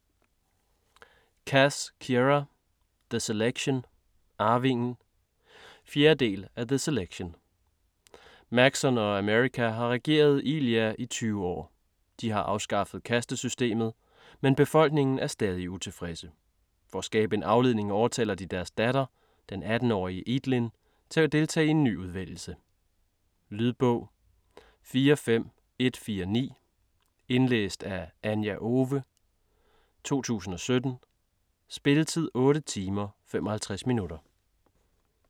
Cass, Kiera: The selection - arvingen 4. del af The selection. Maxon og America har regeret Illea i 20 år. De har afskaffet kastesystemet, men befolkningen er stadig utilfredse. For at skabe en afledning overtaler de deres datter, den 18-årige Eadlyn, til at deltage i en ny udvælgelse. Lydbog 45149 Indlæst af Anja Owe, 2017. Spilletid: 8 timer, 55 minutter.